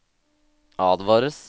advares